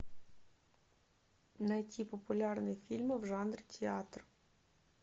найти популярные фильмы в жанре театр